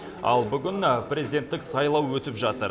ал бүгін президенттік сайлау өтіп жатыр